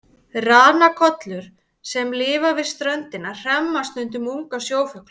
Ranakollur sem lifa við ströndina hremma stundum unga sjófugla.